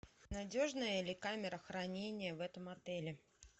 надежная ли камера хранения в этом отеле